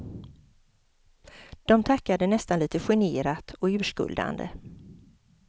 De tackade nästan lite generat och urskuldande.